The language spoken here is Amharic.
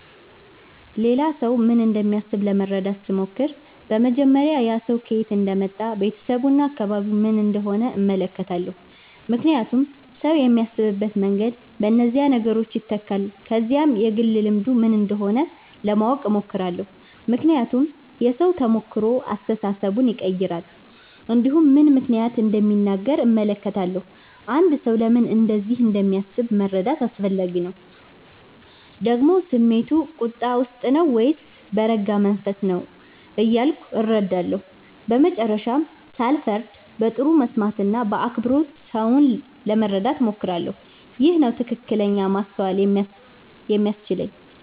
ሌላ ሰው ምን እንደሚያስብ ለመረዳት ሲሞክር በመጀመሪያ ያ ሰው ከየት እንደመጣ ቤተሰቡ እና አካባቢው ምን እንደሆነ እመለከታለሁ ምክንያቱም ሰው የሚያስብበት መንገድ በእነዚህ ነገሮች ይተካል ከዚያም የግል ልምዱ ምን እንደሆነ እሞክራለሁ ለማወቅ ምክንያቱም የሰው ተሞክሮ አስተሳሰቡን ይቀይራል እንዲሁም ምን ምክንያት እንደሚናገር እመለከታለሁ አንድ ሰው ለምን እንደዚህ እንደሚያስብ መረዳት አስፈላጊ ነው ደግሞ ስሜቱ ቁጣ ውስጥ ነው ወይስ በረጋ መንፈስ ነው እያለ እረዳለሁ በመጨረሻም ሳልፈርድ በጥሩ መስማት እና በአክብሮት ሰውን ለመረዳት እሞክራለሁ ይህ ነው ትክክለኛ ማስተዋል የሚያስችለኝ